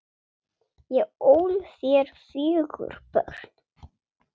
Ég ól þér fjögur börn.